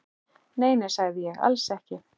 Nei, nei, sagði ég, alls ekki.